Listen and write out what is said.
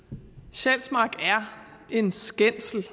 sjælsmark er en skændsel